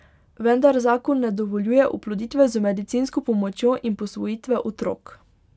Vendar zakon ne dovoljuje oploditve z medicinsko pomočjo in posvojitve otrok.